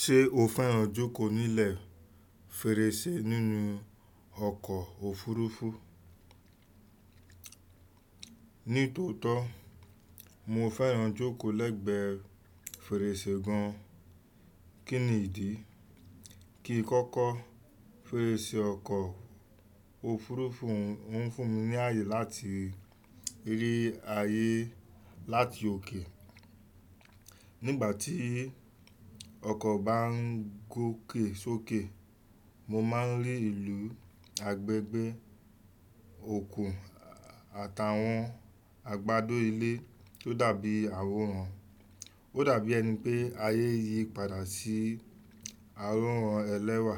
Ṣé o fẹ́ràn jókòó nílẹ̀ fèrèsé nínú ọkọ̀ òfurufú? Ní tòótọ́, mo fẹ́ràn jókòó lẹ́gbẹẹ fèrèsé gan. Kí nìdí? Kì n kọ́kọ́, fèrèsé ọkọ̀ òfurufú ń fún mi ní àayè láti rí ayé láti òkè. Nígbà tí ọkọ̀ bá ń gòkè sókè, mo máa ń rí ìlú, agbègbè, òkun àtàwọn agbádó ilé tó dàbí àwòrán. Ó dàbí ẹni pé ayé yìí padà sí àwòrán ẹlẹ́wà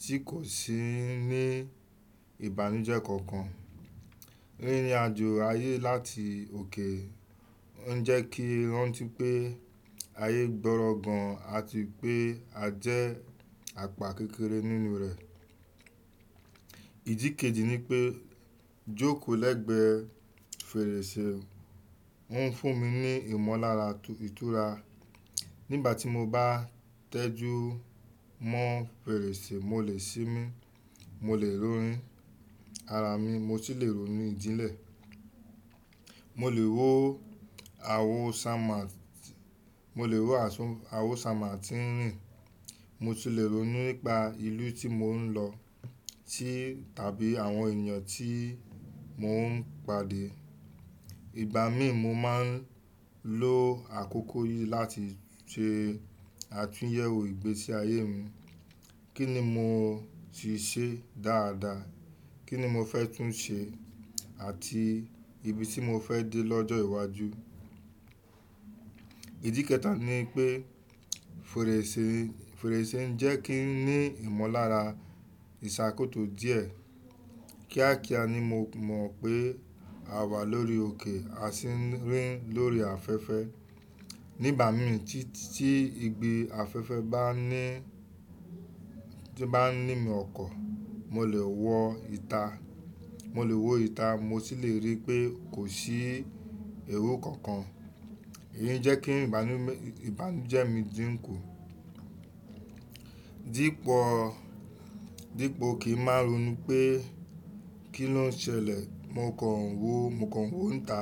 tí kò sí ní ìbànújẹ́ kankan. Rírinàjò ayé láti òkè ń jẹ́ kí n rántí pé ayé gbọrọ gan àti pé a jẹ́ àpá kékeré nínú rẹ̀. Ìdí kejì ni pé jókòó lẹ́gbẹẹ fèrèsé ń fún mi ní ìmọ̀lára ìtura. Nígbà tí mo bá tẹjú mọ́ fèrèsé, mo lè ṣínmí, mo lè ronú ara mi, mo sì lè ronú ìdílé. Mo lè wo àwọ̀ sàmátìnìrìn, mo sì lè ronú nípa ìlú tí mò ń lọ tàbí àwọn ènìyàn tí mò ń pade. Ìgbà mìí, mo máa ń lo àkókò yìí láti ṣe àtúnyẹwò ìgbésí ayé mi. Kí ni mo ti ṣe dáadáa? Kíni mo fẹ́ tún ṣe? Àti ibi tí mo fẹ́ dé lọ́jọ́ iwájú. Ìdí kẹta ni pé fèrèsé ń jẹ́ kí n ní ìmọ̀lára ìṣàkóso díẹ̀. Kíákíá ni mo mọ̀ pé a wà lórí òkè a sì ń rìn lórí afẹ́fẹ́. Nígbà mìí tí ìgbì afẹ́fẹ́ ba ni bá ń ní mi ọkọ̀, mo lè wo ìta, mo sì lè rí pé kò sí ewu kankan. Èyí ń jẹ́ kí ìbànújẹ́ mi dínkù. Dípo kí n máa ronú pé kí ló ń ṣẹlẹ̀, mo kàn ń wonta,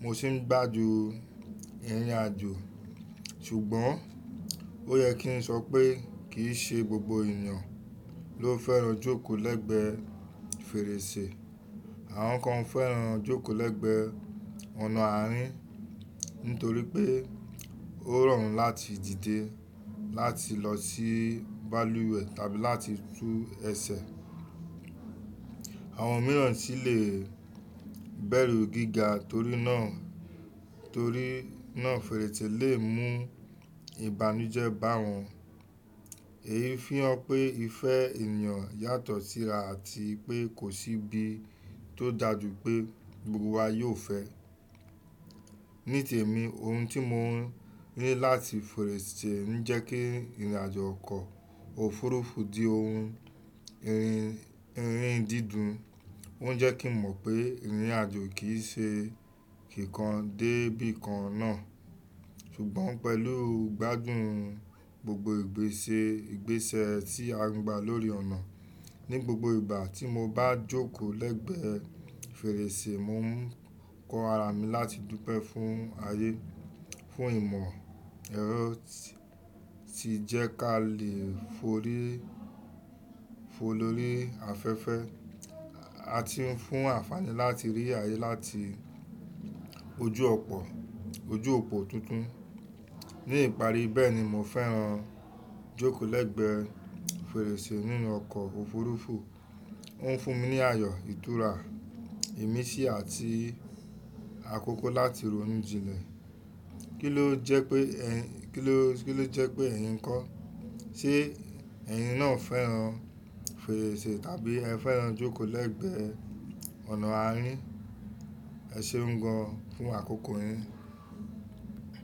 mo sì ń gbádùn ìrìnàjò. Ṣùgbọ́n ó yẹ kí n sọ pé kì í ṣe gbogbo ènìyàn ló fẹ́ràn jókòó lẹ́gbẹẹ fèrèsé. Àwọn kan fẹ́ràn jókòó lẹ́gbẹẹ ọ̀nà àárín nítorí pé ó rọrùn láti dìde, láti lọ sí báluwẹ̀ tàbí láti tú ẹsẹ̀. Àwọn mìíràn sì lè bẹ̀rù gíga torí náà, tori naw fèrèsé lè mú ìbànújẹ́ bá wọn. Èyí ń fihàn pé ìfẹ́ ènìyàn yàtọ̀ síra àti pé kò sí ibi tó dàjú pé gbogbo wa yóò fẹ́ ẹ. Ní tẹ̀mí, ohun tí mo ń rí láti fèrèsé ń jẹ́ kí ìrìnàjò ọkọ̀ òfurufú di ohun ìrín dídùn. Ó ń jẹ́ kí n mọ̀ pé ìrìnàjò kì í ṣe kíkan dé bí i kan náà. Ṣùgbọ́n pẹ̀lú gbádùn gbogbo ìgbésẹ̀ tí a ń gba lórí ọ̀nà. Ni gbogbo ìgbà tí mo bá jókòó lẹ́gbẹẹ fèrèsé, mo ń kọ ara mi láti dúpẹ́ fún ayé, fún ìmọ̀ ẹ̀rọ tí jẹ́ kí a lè forí lórí afẹ́fẹ́ àti fún àǹfààní láti rí ayé láti ojú opo tuntun. Ní ìparí, bẹ́ẹ̀ ni mo fẹ́ràn jókòó lẹ́gbẹẹ fèrèsé nínú ọkọ̀ òfurufú. Ó ń fún mi ní àyo, ìtura, ìmísí àti àkókò láti ronú jinle. Kí ló jẹ́ pé ẹ̀yin kọ́? Ṣé ẹ̀yin náà fẹ́ràn fèrèsé tàbí ẹ fẹ́ràn jókòó lẹ́gbẹẹ ọ̀nà àárín? Ẹ ṣeun gan an fún àkókò yín.